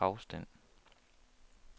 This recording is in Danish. afstand